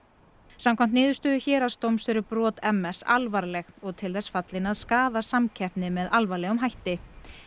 samkvæmt niðurstöðu héraðsdóms eru brot m s eru alvarleg og til þess fallin að skaða samkeppni með alvarlegum hætti